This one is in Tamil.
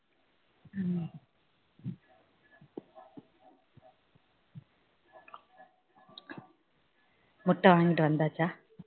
முட்டை வாங்கிட்டு வந்தாச்சா